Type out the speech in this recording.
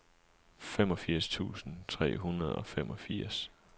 femogfirs tusind tre hundrede og femogfirs